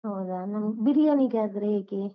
ಹೌದಾ? ನಮ್ ಬಿರಿಯಾನಿಗಾದ್ರೆ ಹೇಗೆ?